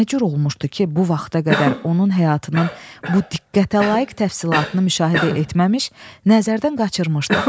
Nə cür olmuşdu ki, bu vaxta qədər onun həyatının bu diqqətəlayiq təfsilatını müşahidə etməmiş, nəzərdən qaçırmışdıq?